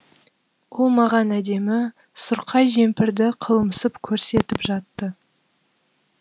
ол маған әдемі сұрқай жемпірді қылымсып көрсетіп жатты